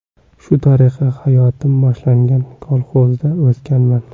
Shu tariqa hayotim boshlangan, kolxozda o‘sganman.